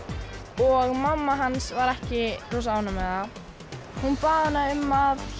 og mamma hans var ekki rosa ánægð með það hún bað hana um að